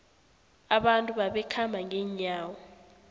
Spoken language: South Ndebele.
abantu babekhamba ngenyawo